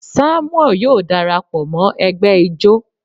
Samuel yóò darapo mo egbe Ijó.